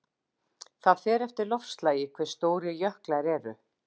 Það fer eftir loftslagi hve stórir jöklar eru.